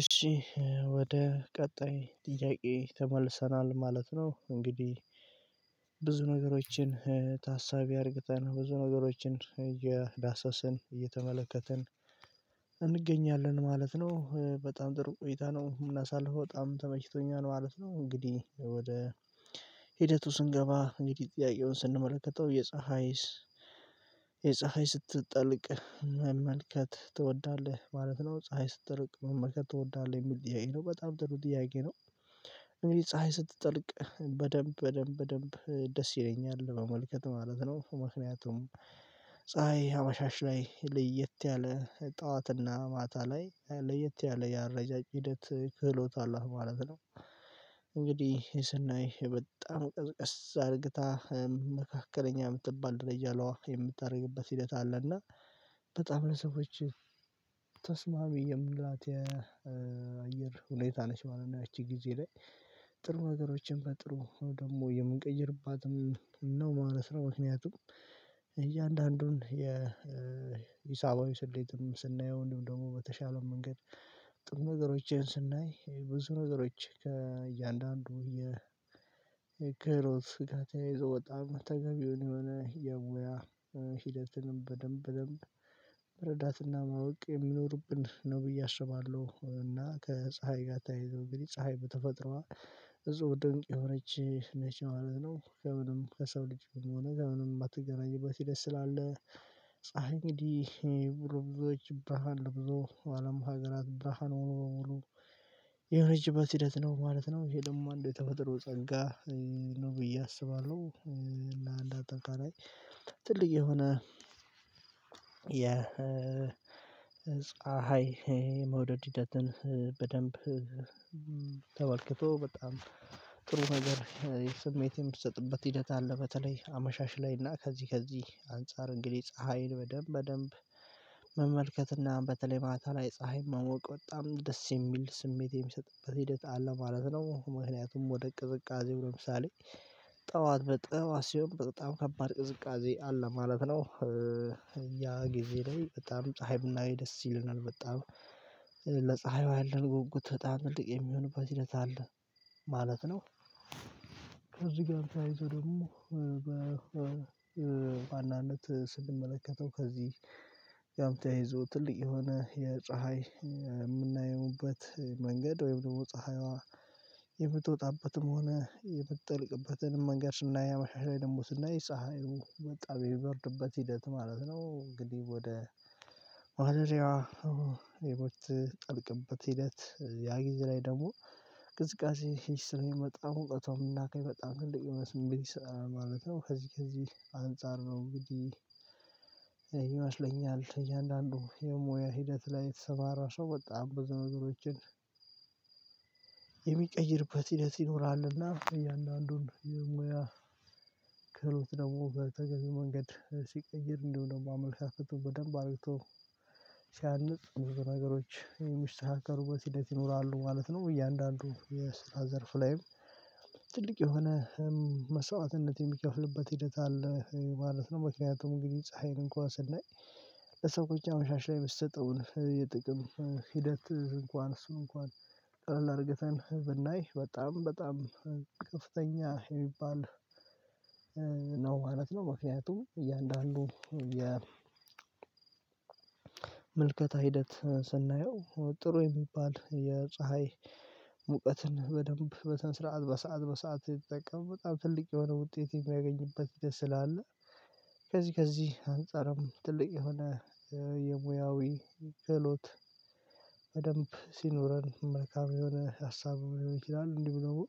እሺ ወደ ቀጣይ ጥያቄ ተመልሰናል ማለት ነው። እንግዲህ ብዙ ነገሮችን ታሳቢ አድርገን ብዙ ነገሮችን እየዳሰስን እየተመለከትን እንገኛለን ማለት ነው። በጣም ጥሩ ቆይታ ነው ምናሳልፈው በጣም ተመችቶኛል ማለት ነው። እንግዲህ ወደ ሂደቱ ስንገባ እንግዲህ ጥያቄውን ስንመለከተው የፀሀይስ የፀሀይ ስትጠልቅ መመልከት ትወዳለህ ማለት ነው? ፀሀይ ስትጠቅ መመልከት ትወዳለህ የሚል ጥያቄ ነው። በጣም ደስ ይለው ጥያቄ ነው። እኔ ፀሀይ ስትጠልቅ በደንብ በደንብ በደንብ ደስ ይለኛል መመልከት ማለት ነው። ምክንያቱም ፀሀይ አመሻሽ ላይ ለየት ያለ ጠዋትና ማታ ላይ ለየት ያለ የአረጃጅ ሂደት ክህሎት አሏት ማለት ነው። እንግዲህ ስናይ በጣም ቀርቀስ አድርግታ መካከለኛ የምትባል ደረጃ ለዋህ የምታደርግበት ሂደት አለ። እና በጣም ለሰዎች ተስማሚ የምላት የአየር ሁኔታ ነሽ ማለት ነው። ያቺ ጊዜ ላይ ጥሩ ነገሮችን በጥሩ ነው ደግሞ የምንቀይርባትም ነው ማለት ነው። ምክንያቱም እያንዳንዱን የሂሳባዊ ስሌትም ስናየው እንዲሁም ደግሞ በተሻለው መንገድ ጥሩ ነገሮቼን ስናይ ብዙ ነገሮች ከእያንዳንዱ የ ክህሎት ጋር ተያይዞ በጣም ተገቢውን የሆነ የሙያ ሂደትንም በደንብ በደንብ መረዳትና ማወቅ የሚኖርብን ነው ብዬ አስባለሁ። እና ከፀሀይ ጋር ታይዘው እንግዲህ ፀሀይ በተፈጥሮ እዛው ደንቅ የሆነች ነች ማለት ነው። ከምንም ከሰው ልጅ ሆኖ ከምንም የማትገናኝበት ሂደትስላለ ፀሀይ እንዲህ ብሩም ብዙዎች ብርሃን ለብዙ አለም ሀገራት ብርሃን ሆኖ በሙሉ የሆነችበት ሂደት ነው ማለት ነው። ይሄ ደግሞ አንድ ተፈጥሮ ጸንጋ ነው ብዬ አስባለሁ። ለአንድ አጠቃላይ ትልቅ የሆነ የፀሀይ መውደድ ሂደትን በደንብ ተበልክቶ በጣም ጥሩ ነገር የስሜት የምትሰጥበት ሂደት አለ። በተለይ አመሻሽ ላይና ከዚህ ከዚህ አንፃር እንግዲህ ፀሀይን በደንብ በደንብ መመልከትና በተለይ ማታ ላይ ፀሀይ መሞቅ በጣም ደስ የሚል ስሜት የሚሰጥበት ሂደት አለ ማለት ነው። ምክንያቱም ወደ ቅዝቃዜው ለምሳሌ ጠዋት በጠዋት ሲሆን በጣም ከባድ ቅዝቃዜ አለ ማለት ነው። ያ ጊዜ ላይ በጣም ፀሀይ ብናይ ደስ ይለናል በጣም ለፀሀይ ያለን ጉጉት በጣም ትልቅ የሚሆንበት ሂደት አለ ማለት ነው። ከዚህ ጋር ተያይዞ ደግሞ በዋናነት ስንመለከተው ከዚህ ጋም ተያይዞ ትልቅ የሆነ የፀሀይ የምናየውበት መንገድ ወይም ደግሞ ፀሀይዋ የምትወጣበትም ሆነ የምትጠልቅበትን መንገድ ስናይ አመሻሽ ደግሞ ስናይ ፀሀይ በጣም የሚበርድበት ሂደት ማለት ነው። እንግዲህ ወደ ማደሪያዋ የምትጠልቅበት ሂደት ያ ጊዜ ላይ ደግሞ ቅዝቃዜ ሂስት የመጣው ሙቀቶ የምናገኝ በጣም ትልቅ የመስመር ማለት ነው ከዚህ ከዚህ አንፃር ነው እንግዲህ። ይመስለኛል እያንዳንዱ የሙያ ሂደት ላይ የተሰማራ ሰው በጣም ብዙ ነገሮችን የሚቀይርበት ሂደት ይኖራልና እያንዳንዱን የሙያ ክህሎት ደግሞ በተገቢው መንገድ ሲቀይር እንደውም ደግሞ አመለካከቱ በደንብ አርግቶ ሲያንጽ ብዙ ነገሮች የሚስተካከሩበት ሂደት ይኖራሉ ማለት ነው። እያንዳንዱ የስራ ዘርፍ ላይም ትልቅ የሆነ መስዋዕትነት የሚከፍልበት ሂደት አለ ማለት ነው። ምክንያቱም እንግዲህ ፀሀይን እንኳን ስናይ ለሰው አመሻሻ ላይ የምትሰጠውን የጥቅም ሂደት እንኳን እሱ እንኳን ቀለል አድርገህተን ብናይ በጣም በጣም ከፍተኛ የሚባል ነው ማለት ነው። ምክንያቱም እያንዳንዱ መልከታ ሂደት ስናየው ጥሩ የሚባል የፀሀይ ሙቀትን በደንብ በስነስርዓት በሰአት በሰአት ይጠቀም በጣም ትልቅ የሆነ ውጤት የሚያገኝበት ሂደት ስላለ። ከዚህ ከዚህ አንፃርም ትልቅ የሆነ የሙያዊ ክህሎት በደንብ ሲኖረን መልካም የሆነ ሀሳብ ሊሆን ይችላል። እንዲሁ ደግሞ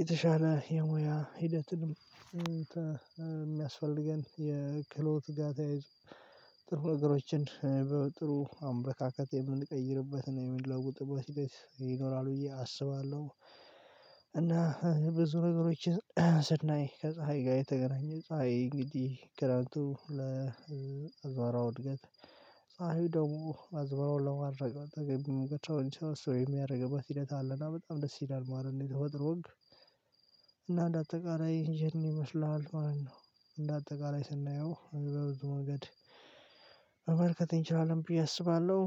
የተሻለ የሙያ ሂደትንም የሚያስፈልገን የክሎት ጋ ተያይዞ ጥሩ ነገሮችን በጥሩ አመለካከት የምንቀይርበት እና የምንለውጥበት ይኖራል ብዬ አስባለሁ። እና ብዙ ነገሮችን ስናይ ከፀሀይ ጋር የተገናኘ ፀሀይ እንግዲህ ክረምቱ ለአዝመራው እድገት ፀሀዩ ደግሞ አዝመራውን ለማድረቅ ተገቢ ሙቀት ተሎ እንዲሰበስብ የሚያደርግበት ሂደት አለና በጣም ደስ ይላል ማለት ነው። የተፈጥሮ ህግ እና እንደ አጠቃላይ ይሄን ይመስልሃል ማለት ነው። እንደ አጠቃላይ ስናየው በብዙ መንገድ ማመልከት እችላለሁ ብዬ አስባለሁ።